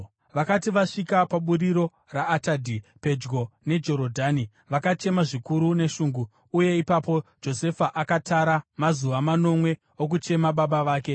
Vakati vasvika paburiro raAtadhi, pedyo neJorodhani, vakachema zvikuru neshungu; uye ipapo Josefa akatara mazuva manomwe okuchema baba vake.